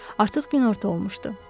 Artıq günorta olmuşdu.